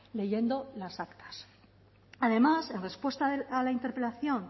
leyendo las actas además en respuesta a la interpelación